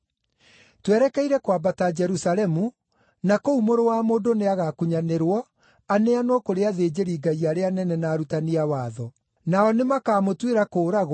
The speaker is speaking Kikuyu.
“Twerekeire kwambata Jerusalemu, na kũu Mũrũ wa Mũndũ nĩagakunyanĩrwo aneanwo kũrĩ athĩnjĩri-Ngai arĩa anene na arutani a watho. Nao nĩmakamũtuĩra kũũragwo